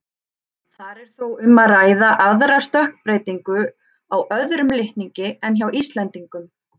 Þar er þó um að ræða aðra stökkbreytingu á öðrum litningi en hjá Íslendingum.